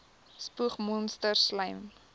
spoeg monsters slym